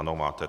Ano, máte.